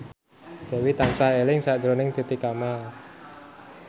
Dewi tansah eling sakjroning Titi Kamal